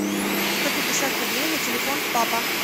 сто пятьдесят рублей на телефон папа